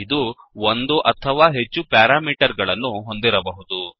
ಇದು ಒಂದು ಅಥವಾ ಹೆಚ್ಚು ಪ್ಯಾರಾಮೀಟರ್ ಗಳನ್ನು ಹೊಂದಿರಬಹುದು